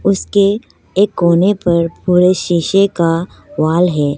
उसके एक कोने पर पूरे शीशे का वॉल है।